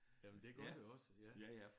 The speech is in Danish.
Jamen det gør det også ja